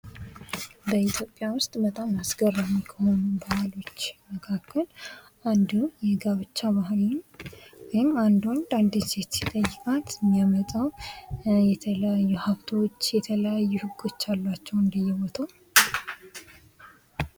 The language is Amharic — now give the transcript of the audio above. በኢትዮጵያ ዉስጥ በጣም አስገራሚ ከሆኑ ባህሎች መካከል አንዱ የጋብቻ ባህል ወይም አንድ ወንድ አንድን ሴት ሲጠይቃት የሚያመጣው የተለያዩ ሀብቶች የተለያዩ ሕግች አሏቸው እንደየ ቦታው::